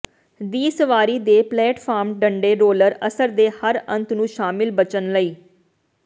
ਦੀ ਸਵਾਰੀ ਦੇ ਪਲੇਟਫਾਰਮ ਡੰਡੇ ਰੋਲਰ ਅਸਰ ਦੇ ਹਰ ਅੰਤ ਨੂੰ ਸ਼ਾਮਿਲ ਬਚਣ ਲਈ